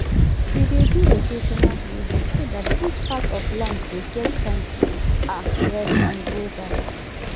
we dey do rotational grazing so that each part of land go get time to um rest and grow back